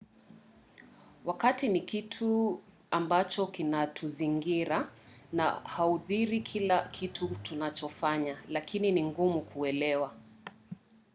wakati ni kitu ambacho kinatuzingira na huathiri kila kitu tunachofanya lakini ni ngumu kuelewa